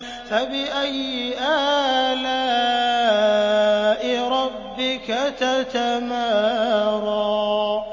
فَبِأَيِّ آلَاءِ رَبِّكَ تَتَمَارَىٰ